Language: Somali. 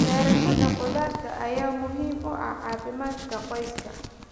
Beerashada khudaarta ayaa muhiim u ah caafimaadka qoyska.